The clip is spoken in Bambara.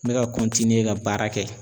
N bɛ ka ka baara kɛ